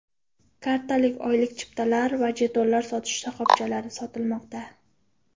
Kartalar oylik yo‘l chiptalari va jetonlar sotish shoxobchalarida sotilmoqda.